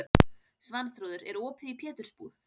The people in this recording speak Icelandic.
Svanþrúður, er opið í Pétursbúð?